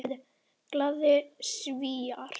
Glaðir Svíar.